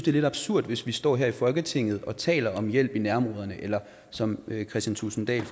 er lidt absurd hvis vi står her i folketinget og taler om hjælp i nærområderne eller som herre kristian thulesen dahl